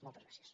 moltes gràcies